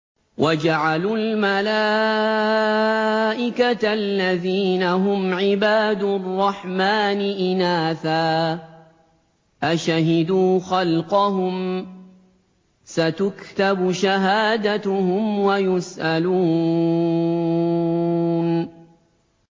وَجَعَلُوا الْمَلَائِكَةَ الَّذِينَ هُمْ عِبَادُ الرَّحْمَٰنِ إِنَاثًا ۚ أَشَهِدُوا خَلْقَهُمْ ۚ سَتُكْتَبُ شَهَادَتُهُمْ وَيُسْأَلُونَ